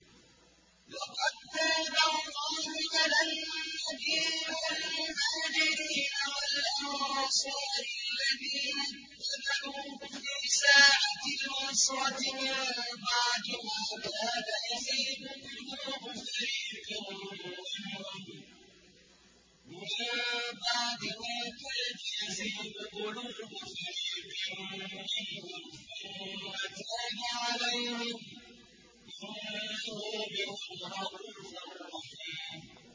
لَّقَد تَّابَ اللَّهُ عَلَى النَّبِيِّ وَالْمُهَاجِرِينَ وَالْأَنصَارِ الَّذِينَ اتَّبَعُوهُ فِي سَاعَةِ الْعُسْرَةِ مِن بَعْدِ مَا كَادَ يَزِيغُ قُلُوبُ فَرِيقٍ مِّنْهُمْ ثُمَّ تَابَ عَلَيْهِمْ ۚ إِنَّهُ بِهِمْ رَءُوفٌ رَّحِيمٌ